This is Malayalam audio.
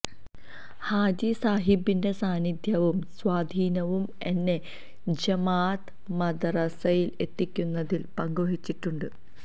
ഹാജി സാഹിബിന്റെ സാന്നിധ്യവും സ്വാധീനവും എന്നെ ജമാഅത്ത് മദ്റസയില് എത്തിക്കുന്നതില് പങ്ക് വഹിച്ചിട്ടുണ്ട്